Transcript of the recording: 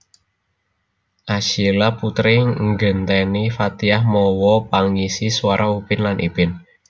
Asyiela Putri nggenteni Fathiah mawa pangisi suara Upin lan Ipin